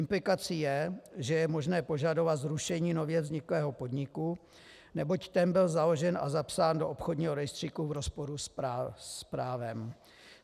Implikací je, že je možné požadovat zrušení nově vzniklého podniku, neboť ten byl založen a zapsán do obchodního rejstříku v rozporu s právem.